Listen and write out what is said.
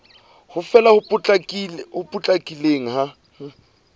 ho fela ho potlakileng ha